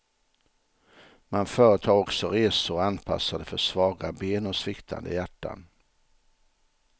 Man företar också resor anpassade för svaga ben och sviktande hjärtan.